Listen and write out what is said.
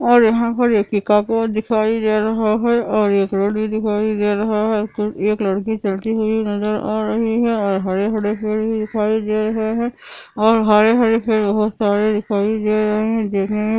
और यहाँ पे एक पिकाको दिखाई दे रहा है|